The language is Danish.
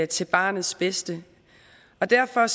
til barnets bedste og derfor